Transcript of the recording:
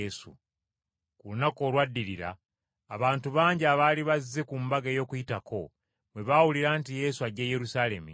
Ku lunaku olwaddirira, abantu bangi abaali bazze ku mbaga ey’Okuyitako bwe baawulira nti Yesu ajja e Yerusaalemi,